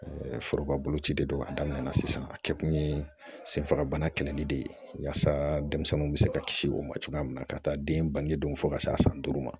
foroba boloci de don a daminɛ na sisan a kɛ kun ye senfagabana kɛlɛli de ye yaasa denmisɛnninw bɛ se ka kisi o ma cogoya min na ka taa den bangen fo ka se a san duuru ma